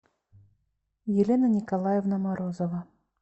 елена николаевна морозова